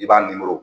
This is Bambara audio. I b'a nimoro